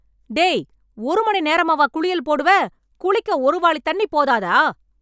டேய், ஒரு மணி நேரமாவா குளியல் போடுவே... குளிக்க ஒரு வாளித் தண்ணி போதாதா..